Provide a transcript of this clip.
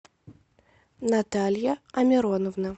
наталья амироновна